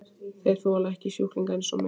Þeir þola ekki sjúklinga eins og mig.